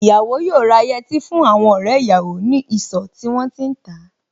Ìyàwó yóò rà yẹtí fún àwọn ọ̀rẹ́ ìyàwó ní ìsọ̀ tí wón ti ń tà á.